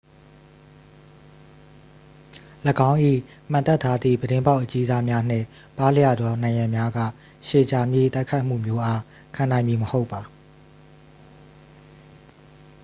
၎င်း၏ မှန်တပ်ထားသည့် ပြတင်းပေါက်အကြီးစား များနှင့် ပါးလျသော နံရံများက ရှည်ကြာမည့်တိုက်ခိုက်မှုမျိုးအား ခံနိုင်မည် မဟုတ်ပါ